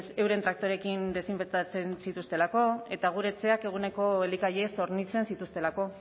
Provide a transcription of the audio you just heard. euren traktoreekin desinfektatzen zituztelako eta gure etxeak eguneko elikagaiez hornitzen zituztelako